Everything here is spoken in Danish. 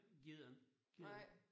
Gider ikke gider ikke